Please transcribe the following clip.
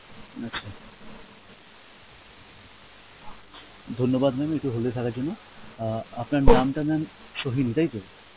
আচ্ছা, ধন্যবাদ mam একটু hold এ থাকার জন্য আ আপনার নামটা mam সোহিনী তাইতো?